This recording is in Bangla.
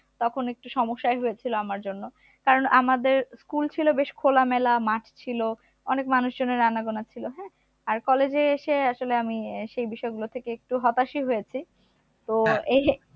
তখন একটু সমস্যাই হয়েছিল আমার জন্য কারণ আমাদের school ছিল বেশ খোলামেলা মাঠ ছিল অনেক মানুষজনের আনাগুনা ছিল হ্যা আর college এ এসে আসলে আমি সেই বিষয়গুলো থেকে একটু হতাশই হয়েছে তো এর